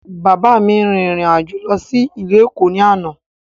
Bàbá mi rin ìrìn àjò lọ sí ìlú Èkó ní àná.